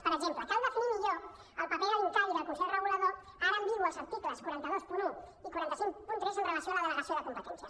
per exemple cal definir millor el paper de l’incavi i del consell regulador ara ambigu als articles quatre cents i vint un i quatre cents i cinquanta tres amb relació a la delegació de competències